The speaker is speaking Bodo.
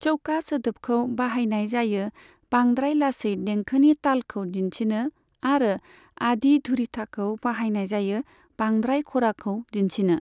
चौका सोदोबखौ बाहायनाय जायो बांद्राय लासै देंखोनि तालखौ दिन्थिनो आरो आदि धुरिथाखौ बाहायनाय जायो बांद्राय खराखौ दिन्थिनो।